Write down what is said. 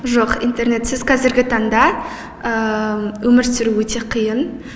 жоқ интернетсіз қазіргі таңда өмір сүру өте қиын